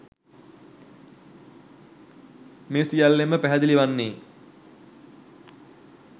මේ සියල්ලෙන්ම පැහැදිලි වන්නේ